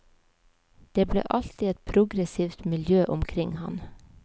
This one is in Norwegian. Det ble alltid et progressivt miljø omkring ham.